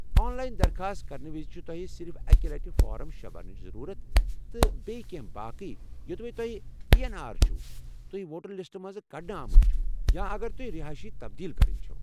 آن line درخاست کرنہٕ وِزِ چھ تۄہہ صرف اکہِ لٹہِ فارم شے برنٕچ ضٔروٗرت تہٕ بییٚہِ کینٛہہ باقی یو٘دوے تۄہہِ آیی این آر چھِو، تُہۍ ووٹر لسٹہٕ منٛزٕ کڈنہٕ آمٕتۍ چھِو ، یا اگر توہہِ رہٲیش تبدیل كران چھو۔